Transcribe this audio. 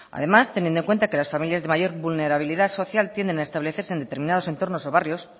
además teniendo en cuenta que las familias de mayor vulnerabilidad social tienden a establecerse en determinados entornos o barrios